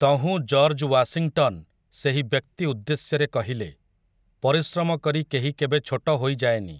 ତହୁଁ George Washington ସେହି ବ୍ୟକ୍ତି ଉଦ୍ଦେଶ୍ୟରେ କହିଲେ, ପରିଶ୍ରମ କରି କେହି କେବେ ଛୋଟ ହୋଇଯାଏନି।